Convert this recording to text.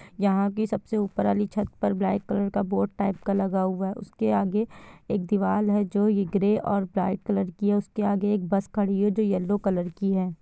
यहाँ की सब से ऊपर वाली छत पर ब्राइट कलर का बोर्ड टाइप लगा हूआ है| उसके आगे एक दीवाल है जो ये ग्रे और ब्राइट कलर की है उसके आगे एक बस खड़ी है जो येलो कलर की है।